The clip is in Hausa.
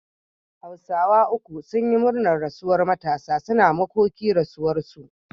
hausawa uku sunyi murnar rasuwar Matasa, suna makoki rasuwar su